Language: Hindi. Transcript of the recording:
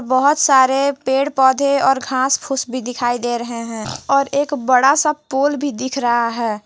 बहोत सारे पेड़ पौधे और घास फूस भी दिखाई दे रहे हैं और एक बड़ा सा पोल भी दिख रहा है।